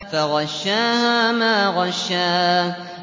فَغَشَّاهَا مَا غَشَّىٰ